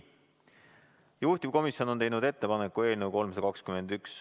Juhtivkomisjon on teinud ettepaneku eelnõu 321 ...